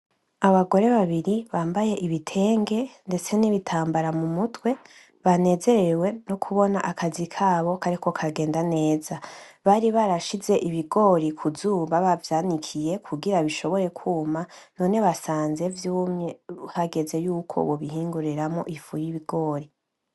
Abagore babiri bambaye ibitenge ndetse n'ibitambara mumutwe banezerewe no kubona akazi kabo kariko karagenda neza bari barashize ibigori ku zuba bari bavyanikiye kugira bishobore kuma none basanze vyumye hageze yuko bobihinguriramwo ifu yi, bigori.